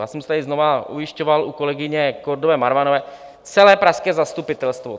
Já jsem se tady znovu ujišťoval u kolegyně Kordové Marvanové - celé pražské zastupitelstvo.